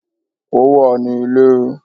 Ó wà ní Ilé